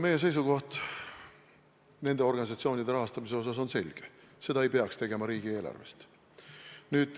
Meie seisukoht nende organisatsioonide rahastamise osas on selge: seda ei peaks tegema riigieelarvest.